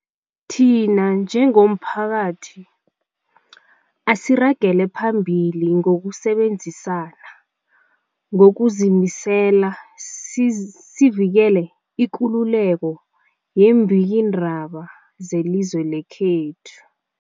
Thina njengomphakathi, asiragele phambili ngokusebenzisana ngokuzimisela siz sivikele ikululeko yeembikiindaba zelizwe lekhethu.